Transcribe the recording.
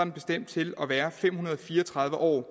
bestemt til at være fem hundrede og fire og tredive år